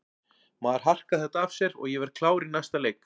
Maður harkar þetta af sér og ég verð klár í næsta leik.